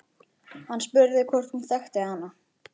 Hann spurði hvort hún þekkti hana.